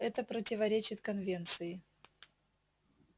это противоречит конвенции